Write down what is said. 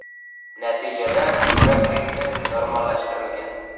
Natijada yurak ritmi normallashtirilgan.